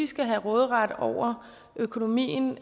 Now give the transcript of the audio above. skal have råderet over økonomien